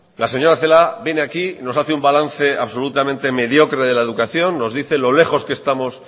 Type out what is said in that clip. la señora celaá viene aquí nos hace un balance absolutamente mediocre de la educación nos dice lo lejos que estamos